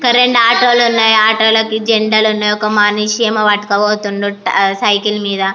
రెండు ఆటోలు ఉన్నాయి ఆటో కి రెండు జెండాలు ఉన్నాయి. ఒక మనిషి ఏమో యేత్కపోతుండు సైకిల్ మీద.